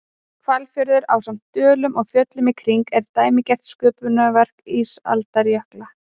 Hvalfjörður, ásamt dölum og fjöllum í kring, er dæmigert sköpunarverk ísaldarjökla.